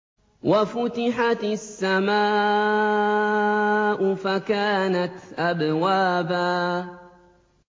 وَفُتِحَتِ السَّمَاءُ فَكَانَتْ أَبْوَابًا